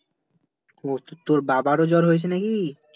ও তোর বাবারো জ্বর হয়েছে না কি?